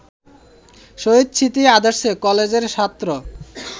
শহীদ স্মৃতি আদর্শ কলেজের ছাত্র